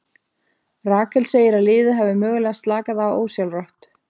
Rakel segir að liðið hafi mögulega slakað á ósjálfrátt.